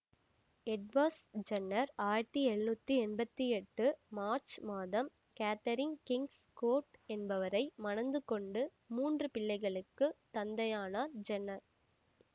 Edwards Jenner ஆயிரத்தி எழுநூற்றி எம்பத்தி எட்டு மார்ச்சு மாதம் கேதரின் கிங்ஸ்கோட் என்பவரை மணந்து கொண்டு மூன்று பிள்ளைகளுக்கு தந்தையானார் ஜென்னர்